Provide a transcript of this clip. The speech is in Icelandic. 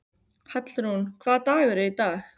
Hallrún, hvaða dagur er í dag?